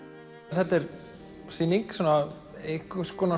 þetta er sýning einhvers konar